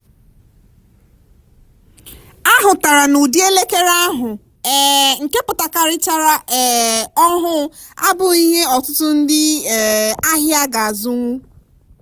a hụtara n'ụdị elekere ahụ um nke pụtakarichara um ọhụụ abụghị ihe ọtụtụ ndị um ahịa ga-azụnwu